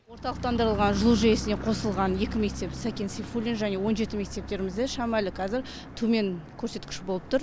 орталықтандырылған жылу жүйесіне қосылған екі мектеп сәкен сейфуллин және он жеті мектептерімізде шамәлі қазір төмен көрсеткіш болып тұр